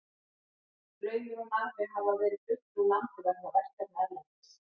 Glaumur og Narfi hafa verið fluttir úr landi vegna verkefna erlendis.